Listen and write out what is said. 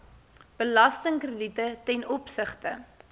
belastingkrediete ten opsigte